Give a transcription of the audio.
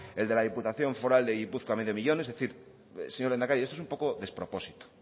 el de la diputación foral de gipuzkoa medio millón es decir señor lehendakari esto es un poco despropósito